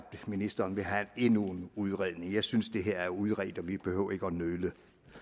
ministeren vil have endnu en udredning jeg synes det her er udredt og vi behøver ikke at nøle